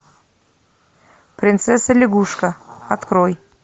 принцесса лягушка открой